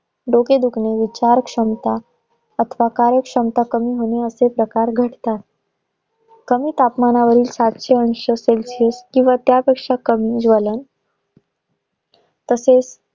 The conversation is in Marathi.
डोके दुखणे, विचार क्षमता अथवा कार्य क्षमता कमी होणे असे प्रकार घडतात कमी तापमानावरील पाचशे एंशी celsius किंवा त्यापेक्षा कमी ज्वलन तसेच